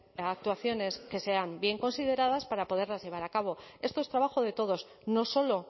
actuaciones que sean bien consideradas para poderlas llevar a cabo esto es trabajo de todos no solo